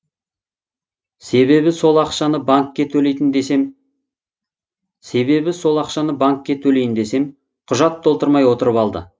себебі сол ақшаны банкке төлейтін десем себебі сол ақшаны банкке төлейін десем құжат толтырмай отырып алды